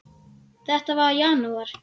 Þetta var í janúar.